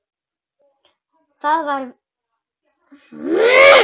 Það var farið með hana.